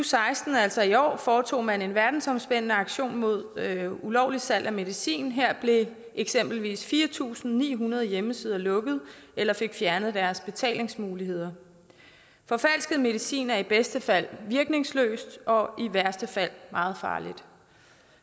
seksten altså i år foretog man en verdensomspændende aktion mod ulovligt salg af medicin og her blev eksempelvis fire tusind ni hundrede hjemmesider lukket eller fik fjernet deres betalingsmuligheder forfalsket medicin er i bedste fald virkningsløst og i værste fald meget farligt